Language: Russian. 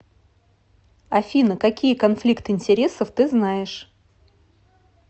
афина какие конфликт интересов ты знаешь